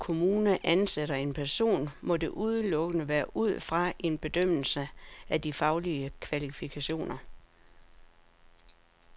Når man i en kommune ansætter en person, må det udelukkende være ud fra en bedømmelse af de faglige kvalifikationer.